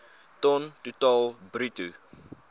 ton totaal bruto